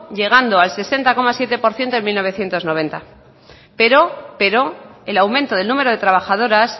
llegando al sesenta coma siete por ciento en mila bederatziehun eta laurogeita hamar pero el aumento del número de trabajadoras